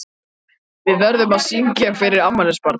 Við verðum að syngja fyrir afmælisbarnið.